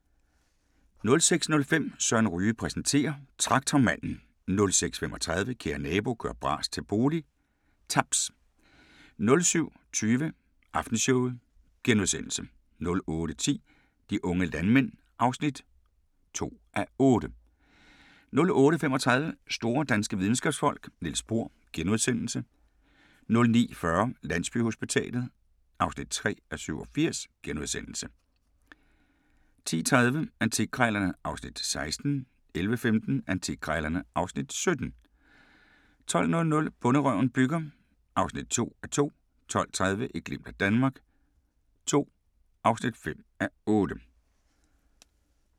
06:05: Søren Ryge præsenterer: Traktormanden 06:35: Kære nabo – gør bras til bolig – Taps 07:20: Aftenshowet * 08:10: De unge landmænd (2:8) 08:35: Store danske Videnskabsfolk: Niels Bohr * 09:40: Landsbyhospitalet (3:87)* 10:30: Antikkrejlerne (Afs. 16) 11:15: Antikkrejlerne (Afs. 17) 12:00: Bonderøven bygger (2:2) 12:30: Et glimt af Danmark II (5:8)